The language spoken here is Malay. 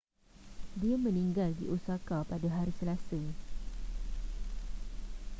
dia meninggal di osaka pada hari selasa